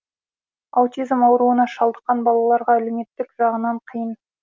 аутизм ауруына шалдыққан балаларға әлеуметтік жағынан қиын